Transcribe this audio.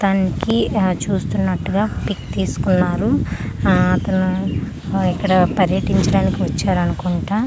తనకి చూస్తున్నట్టు గా పిక్ తికుకున్నారు ఆ అతను ఇక్కడ పర్యటించడానికి వచ్చారు అనుకుంటా .